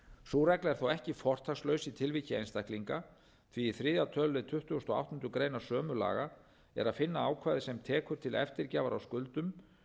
sú regla er þó ekki fortakslaus í tilviki einstaklinga því í þriðja tölulið tuttugasta og áttundu grein sömu laga er að finna ákvæði sem tekur til eftirgjafar á skuldum